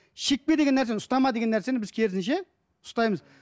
шекпе деген нәрсені ұстама деген нәрсені біз керісінше ұстаймыз